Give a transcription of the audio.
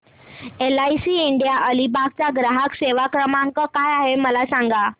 LIC India Alibag चा ग्राहक सेवा क्रमांक काय आहे मला सांगा